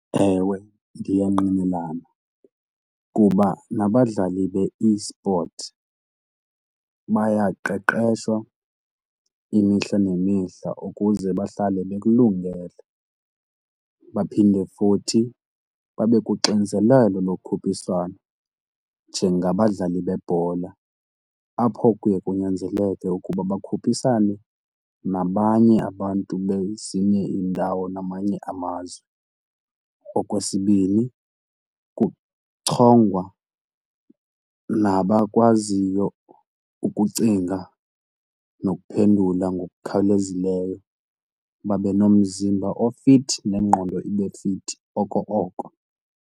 Ewe, ndiyangqinelana kuba nabadlali be-esport bayaqeqeshwa imihla nemihla ukuze bahlale bekulungele baphinde futhi babe kuxinzelelo lokhuphiswano njengabadlali bebhola apho kuye kunyanzeleke ukuba bakhuphisane nabanye abantu bezinye iindawo namanye amazwe. Okwesibini kuchongwa nabakwaziyo ukucinga nokuphendula ngokukhawulezileyo, babe nomzimba ofithi nengqondo ibe fithi oko oko.